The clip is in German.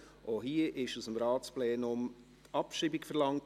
Auch hier wurde aus dem Ratsplenum Abschreibung verlangt.